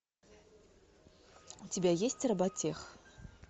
у тебя есть роботех